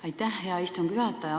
Aitäh, hea istungi juhataja!